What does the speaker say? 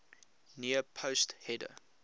near post header